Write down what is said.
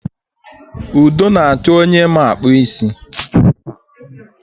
Udo na-achọ onye ma akpụ isi